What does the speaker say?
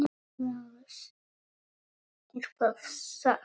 LÁRUS: Er það satt?